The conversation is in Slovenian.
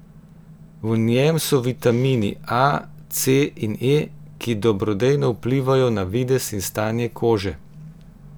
V njem so vitamini A, C in E, ki dobrodejno vplivajo na videz in stanje kože.